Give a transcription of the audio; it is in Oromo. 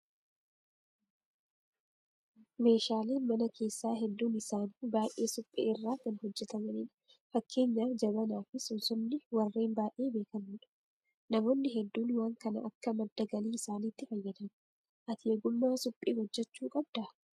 Meeshaaleen mana keessaa hedduun isaanii biyyee suphee irraa kan hojjatamanidha. Fakeenyaaf jabanaa fi sumsumni warreen baay'ee beekamoodha. Namoonni hedduun waan kana akka madda galii isaaniitti fayyadamu. Ati ogummaa suphee hojjachuu qabdaa?